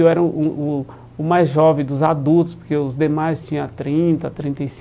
Eu era o o o o mais jovem dos adultos, porque os demais tinha trinta, trinta e